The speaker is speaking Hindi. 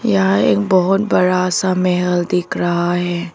यहां एक बहुत बड़ा सा महल दिख रहा है।